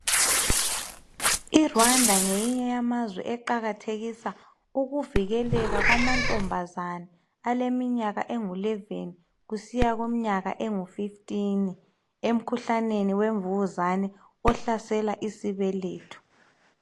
I Rwanda ngeyinye yamazwe eqakathekisa ukuvikeleka kwamantombazana aleminyaka engu 11 kusiya kumnyaka engu 15 emkhuhlaneni wemvukuzane ohlasela isibeletho